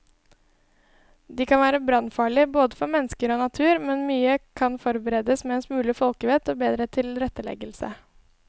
De kan være brannfarlige både for mennesker og natur, men mye kan forbedres med en smule folkevett og bedre tilretteleggelse.